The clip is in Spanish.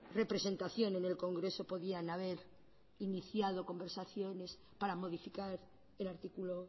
representación en el congreso podían haber iniciado conversaciones para modificar el artículo